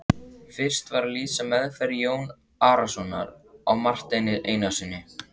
Fyrst var að lýsa meðferð Jóns Arasonar á Marteini Einarssyni.